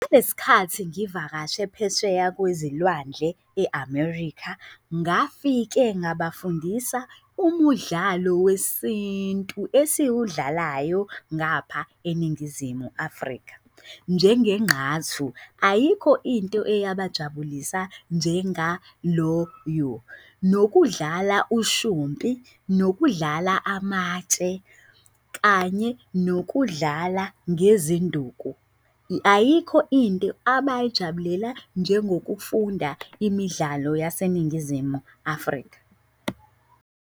Kulesikhathi ngivakashe phesheya kwezilwandle, e-America ngafike ngabafundisa umudlalo wesintu esiwudlalayo ngapha eNingizimu Afrika, njengenqathu. Ayikho into eyabajabulisa njengaloyo. Nokudlala ushumpi, nokudlala amatshe, kanye nokudlala ngezinduku. Ayikho into abayijabulela njengokufunda imidlalo yaseNingizimu Afrika.